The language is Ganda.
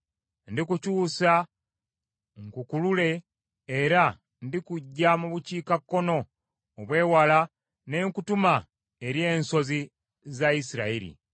Ndikukyusa nkukulule, era ndikuggya mu bukiikakkono obw’ewala ne nkutuma eri ensozi za Isirayiri.